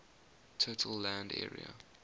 total land area